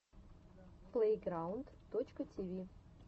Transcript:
плэйграунд точка тиви